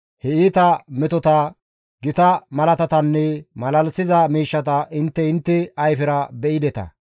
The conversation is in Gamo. he iita metota, gita malaatatanne malalisiza miishshata intte intte ayfera be7ideta.